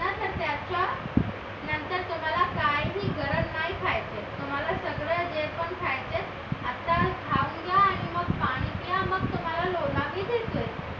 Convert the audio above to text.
काहीही गरज नाही खायचं तुम्हाला सगळं जे पण खायचं आहे आताच खाऊन घ्या आणि मग पाणी प्या तुम्हाला लोला मी देतोय